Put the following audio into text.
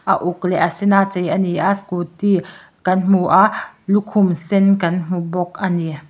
a uk leh a sen a chei a ni a scooty kan hmu a lukhum sen kan hmu bawk a ni.